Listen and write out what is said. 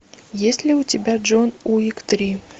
есть ли у тебя джон уик три